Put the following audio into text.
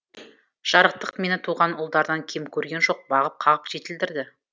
жарықтық мені туған ұлдарынан кем көрген жоқ бағып қағып жетілдірді